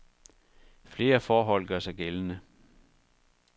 Flere forhold gør sig gældende.